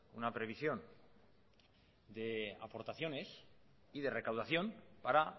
una previsión de aportaciones y de recaudación para